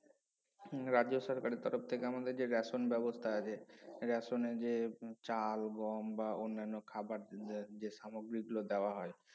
রাজ্য সরকারের তরফ থেকে আমাদের যে ration ব্যবস্থা আছে ration এ যে চাল গম বা অন্যান্য খাবার যে সামগ্রিগুলো দেওয়া হয়